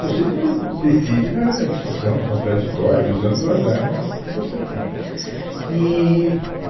Você de decide na na discussão, no contraditório, usando as armas que você tem. Eee